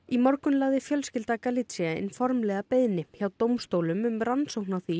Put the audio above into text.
í morgun lagði fjölskylda Galizia inn formlega beiðni hjá dómstólum um rannsókn á því